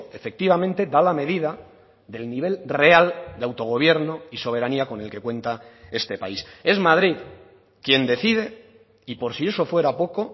efectivamente da la medida del nivel real de autogobierno y soberanía con el que cuenta este país es madrid quien decide y por si eso fuera poco